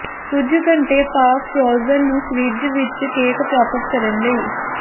ਕੁਝ ਘੰਟੇ ਪਾ ਫ਼੍ਰੋਜ਼ਨ ਨੂੰ ਫਰਿੱਜ ਵਿਚ ਕੇਕ ਪ੍ਰਾਪਤ ਕਰਨ ਲਈ